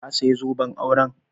Ka saya zoben auren?